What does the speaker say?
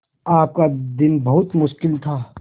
आपका दिन बहुत मुश्किल था